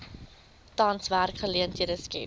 tans werksgeleenthede skep